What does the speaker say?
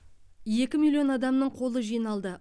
екі миллион адамның қолы жиналды